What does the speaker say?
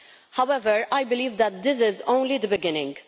However, I believe that this is only the beginning.